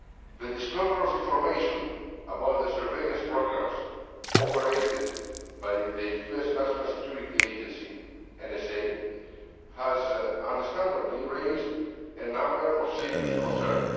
The disclosure of information about the surveillance programmes operated by the US National Security Agency, the NSA, has understandably raised a number of serious concerns.